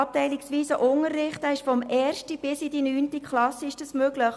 Abteilungsweiser Unterricht ist von der ersten bis in die neunte Klasse möglich.